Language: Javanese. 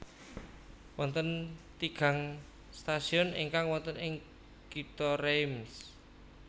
Wonten tigang stasiun ingkang wonten ing Kitha Reims